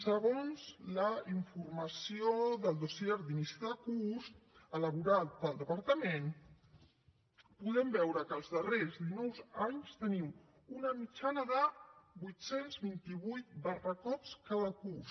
segons la informació del dossier d’inici de curs elaborat pel departament podem veure que els darrers dinou anys tenim una mitjana de vuit cents i vint vuit barracots cada curs